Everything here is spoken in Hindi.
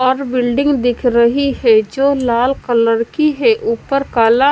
और बिल्डिंग दिख रही है जो लाल कलर की है। ऊपर काला --